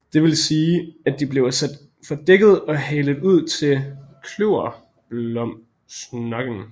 Det vil sige at de bliver sat fra dækket og halet ud til klyverbomsnokken